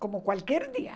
Como qualquer dia.